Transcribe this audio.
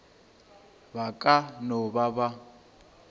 ba ka no ba ba